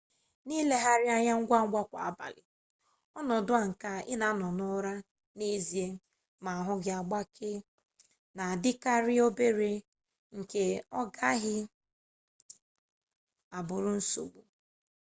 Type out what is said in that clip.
n'ilegharị anya ngwangwa kwa abalị ọnọdụ a nke ị na-anọ n'ụra n'ezie ma ahụ gị agbakee na-adịkarị obere nke ọ gaghị abụrụ nsogbu